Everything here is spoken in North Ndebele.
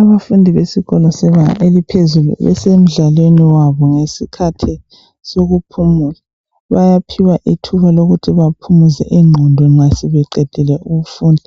Abafundi besikolo sebanga eliphezulu besemidlalweni wabo ngesikhathi sokuphumula. Bayaphiwa ithuba lokuthi baphumuze ingqondo nxa sebeqedile ukufunda